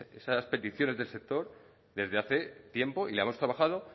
esas peticiones del sector desde hace tiempo y las hemos trabajado